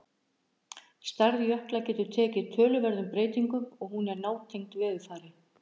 Stærð jökla getur tekið töluverðum breytingum og hún er nátengd veðurfari.